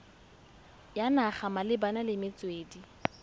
ya naga malebana le metswedi